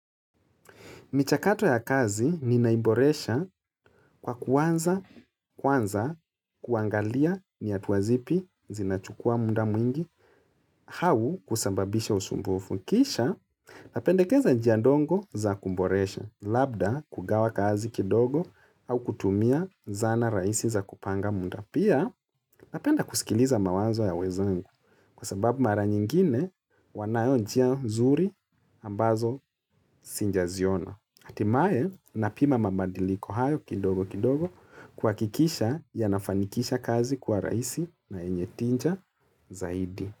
Michakato ya kazi ninaiboresha kwa kuanza kwanza kuangalia ni hatua zipi zinachukua muda mwingi au kusababisha usumbufu. Kisha napendekeza njia ndogo za kuboresha, labda kugawa kazi kidogo au kutumia zana rahisi za kupanga muda. Pia napenda kusikiliza mawazo ya wenzangu kwa sababu mara nyingine wanayo njia zuri ambazo sijaziona. Hatimaye napima mabadiliko hayo kidogo kidogo kuhakikisha yanafanikisha kazi kuwa rahisi na yenye tija zaidi.